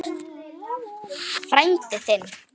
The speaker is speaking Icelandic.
Frændi þinn?